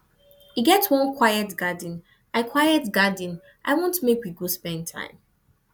e get one quiet garden i quiet garden i wan make we go spend time